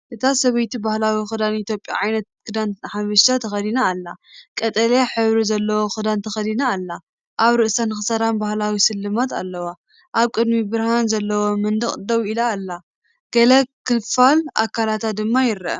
እታ ሰበይቲ ባህላዊ ክዳን ኢትዮጵያ (ዓይነት ክዳን ሓበሻ) ተኸዲና ኣላ። ቀጠልያ ሕብሪ ዘለዎ ክዳን ተኸዲና ኣላ። ኣብ ርእሳን ክሳዳን ባህላዊ ስልማት ኣለዋ። ኣብ ቅድሚ ብርሃን ዘለዎ መንደቕ ደው ኢላ ኣላ። ገለ ክፋል ኣካላታ ድማ ይርአ።